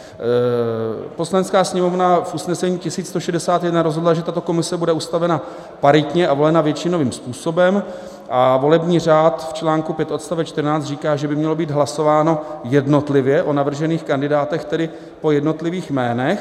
Poslanecká sněmovna v usnesení 1161 rozhodla, že tato komise bude ustavena paritně a volena většinovým způsobem, a volební řád v článku 5 odst 14 říká, že by mělo být hlasováno jednotlivě o navržených kandidátech, tedy po jednotlivých jménech.